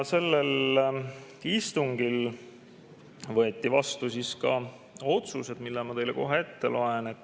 Sellel istungil võeti vastu ka otsused, mis ma teile kohe ette loen.